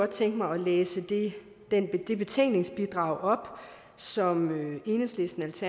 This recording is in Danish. tænke mig at læse det det betænkningsbidrag op som enhedslistens